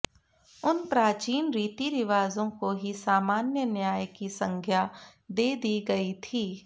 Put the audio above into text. उन प्राचीन रीतिरिवाजों को ही सामान्य न्याय की संज्ञा दे दी गई थी